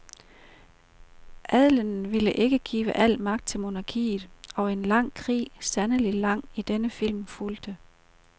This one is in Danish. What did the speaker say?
Adelen ville ikke give al magt til monarkiet, og en lang krig, sandelig lang i denne film, fulgte.